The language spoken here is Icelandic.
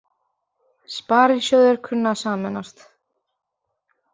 Sparisjóðir kunna að sameinast